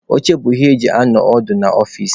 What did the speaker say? Oche bụ ihe eji anọ ọdụ n'ọfici.